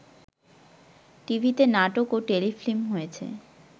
টিভিতে নাটক ও টেলিফিল্ম হয়েছে